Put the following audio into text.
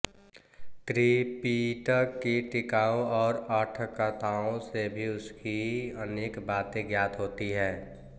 त्रिपिटक की टीकाओं और अठ्ठकथाओं से भी उसकी अनेक बातें ज्ञात होती हैं